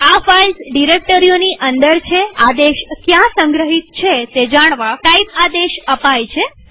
આ ફાઈલ્સ ડિરેક્ટરીઓની અંદર છેઆદેશ ક્યાં સંગ્રહિત છે તે જાણવા ટાઇપ આદેશ અપાય છે